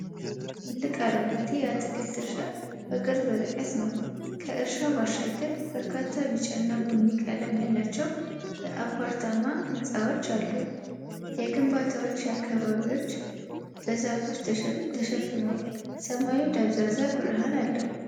ትልቅ አረንጓዴ የአትክልት እርሻ በቅርብ ርቀት ነው። ከእርሻው ባሻገር በርካታ ቢጫና ቡኒ ቀለም ያላቸው የአፓርታማ ሕንፃዎች አሉ። የግንባታዎቹ አካባቢዎች በዛፎች ተሸፍነዋል። ሰማዩ ደብዛዛ ብርሃን አለው።